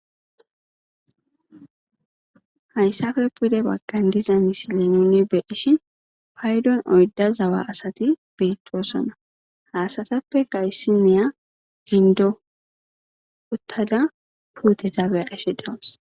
hayssafe pude baggan diza misile nuni beeshi paydon oyda zawa asati beettoosona haasatappe gayssineya gindo uttada puuteta beqeshe dawus